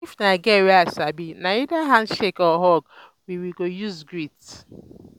if na girl wey i sabi na either handshake or hug we we go use greet